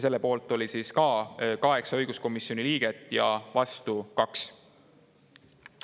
Selle poolt oli ka 8 õiguskomisjoni liiget ja vastu 2.